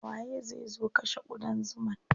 Waye zai zo kashe ƙudan zuman?